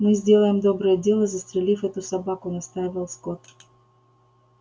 мы сделаем доброе дело застрелив эту собаку настаивал скотт